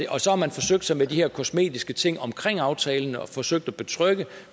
og så har man forsøgt sig med de her kosmetiske ting omkring aftalen og forsøgt at betrygge